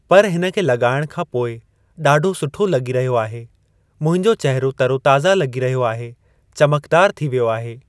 पर हिन खे लॻाइण खां पोइ ॾाढो सुठो लॻी रहियो आहे मुंहिंजो चहिरो तरोताज़ा लॻी रहियो आहे चमकदार थी वियो आहे।